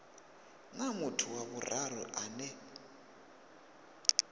na muthu wa vhuraru ane